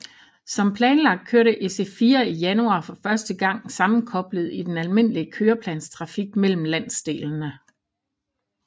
Som planlagt kørte IC4 i januar for første gang sammenkoblet i den almindelige køreplansdrift mellem landsdelene